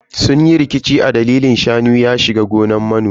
Sun yi rikici a dalilin shanu ya shiga gonan manomi.